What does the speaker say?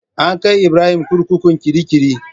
An kai Ibrahim kurkukun kirikiri.